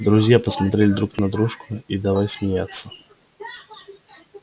друзья посмотрели друг на дружку и давай смеяться